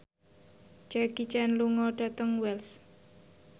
Jackie Chan lunga dhateng Wells